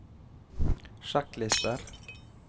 sjekklister